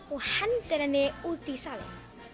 og hendir henni út í salinn